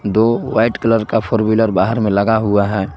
दो white colour का four wheeler बाहर में लगा हुआ है।